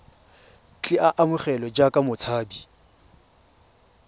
tle a amogelwe jaaka motshabi